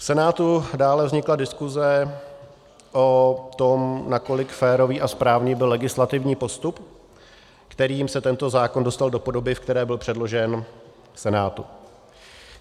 V Senátu dále vznikla diskuse o tom, nakolik férový a správný byl legislativní postup, kterým se tento zákon dostal do podoby, v které byl předložen Senátu.